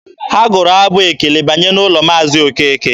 Ha gụụrụ abụ ekele banye n'ụlọ Maazi Okeke.